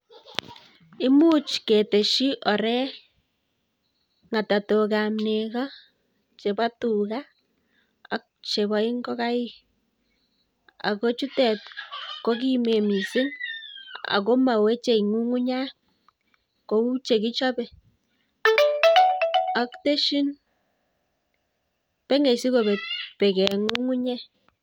Imuch ketesyii ooorek, ngatatok ab negoo, chebo tugaa ak chepo ingogaik ak kochutet kokimen missing ak moweche ngungunyat kou chekichope ak tesyiin anan yoe kobeng kobek beek en ngungunyek